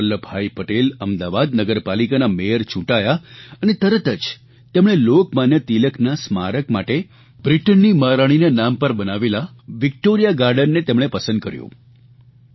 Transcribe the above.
સરદાર વલ્લભભાઇ પટેલ અમદાવાદ નગરપાલિકાના મેયર ચૂંટાયા અને તરત જ તેમણે લોકમાન્ય તિલકના સ્મારક માટે બ્રિટનની મહારાણીના નામ પર બનાવેલા વિકટોરીયા ગાર્ડનને તેમણે પસંદ કર્યું